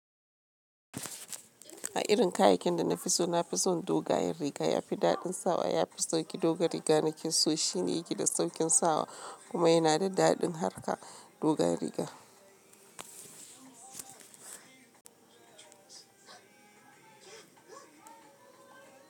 A irin kayakin da na fi so, na fi son dogayen riga. Ya fi daɗin sawa, ya fi sauƙi doga riga. Na ki so shine gida sauƙin sawa kuma yana da daɗin harka doga riga.